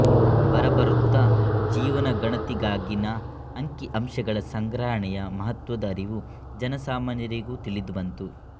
ಬರಬರುತ್ತಾ ಜೀವನಗಣತಿಗಾಗಿನ ಅಂಕಿಅಂಶಗಳ ಸಂಗ್ರಹಣೆಯ ಮಹತ್ತ್ವದ ಅರಿವು ಜನಸಾಮಾನ್ಯರಿಗೂ ತಿಳಿದುಬಂತು